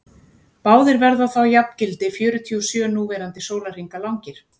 báðir verða þá jafngildi fjörutíu og sjö núverandi sólarhringa langir